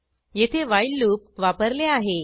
येथे while loop वापरले आहे